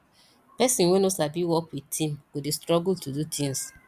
person wey no sabi work with team go dey struggle to do things